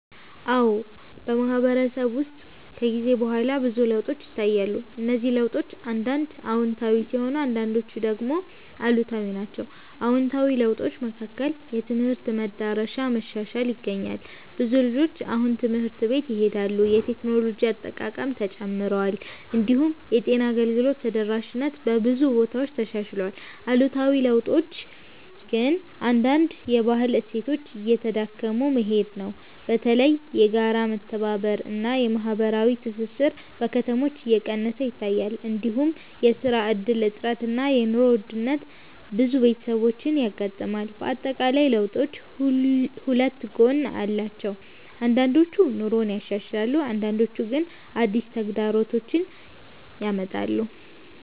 አዎ፣ በማህበረሰብ ውስጥ ከጊዜ በኋላ ብዙ ለውጦች ይታያሉ። እነዚህ ለውጦች አንዳንድ አዎንታዊ ሲሆኑ አንዳንዶቹ ደግሞ አሉታዊ ናቸው። አዎንታዊ ለውጦች መካከል የትምህርት መዳረሻ መሻሻል ይገኛል። ብዙ ልጆች አሁን ትምህርት ቤት ይሄዳሉ፣ የቴክኖሎጂ አጠቃቀምም ተጨምሯል። እንዲሁም የጤና አገልግሎት ተደራሽነት በብዙ ቦታዎች ተሻሽሏል። አሉታዊ ለውጦች ግን አንዳንድ የባህል እሴቶች እየተዳከሙ መሄድ ነው። በተለይ የጋራ መተባበር እና የማህበራዊ ትስስር በከተሞች እየቀነሰ ይታያል። እንዲሁም የስራ እድል እጥረት እና የኑሮ ውድነት ብዙ ቤተሰቦችን ያጋጥማል። በአጠቃላይ ለውጦቹ ሁለት ጎን አላቸው፤ አንዳንዶቹ ኑሮን ያሻሽላሉ አንዳንዶቹ ግን አዲስ ተግዳሮቶች ያመጣሉ።